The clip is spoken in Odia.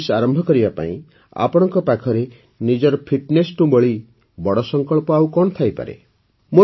୨୦୨୪ ଆରମ୍ଭ କରିବା ପାଇଁ ଆପଣଙ୍କ ପାଖରେ ନିଜର ଫିଟ୍ନେସ୍ଠୁ ବଳି ବଡ଼ ସଙ୍କଳ୍ପ ଆଉ କଣ ହେଇପାରେ